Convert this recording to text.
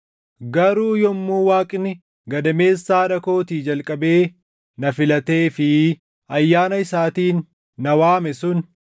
Garuu yommuu Waaqni gadameessa haadha kootii jalqabee na filatee fi ayyaana isaatiin na waame sun,